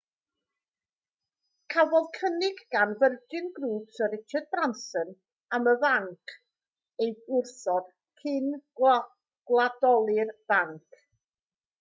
cafodd cynnig gan virgin group syr richard branson am y banc ei wrthod cyn gwladoli'r banc